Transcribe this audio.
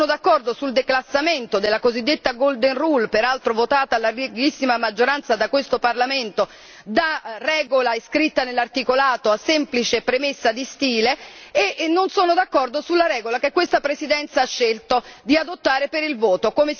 Non sono d'accordo sul declassamento della cosiddetta golden rule peraltro votata a larghissima maggioranza da questo Parlamento da regola iscritta nell'articolato a semplice premessa di stile, né sono d'accordo sulla regola che questa Presidenza ha scelto di adottare per la votazione.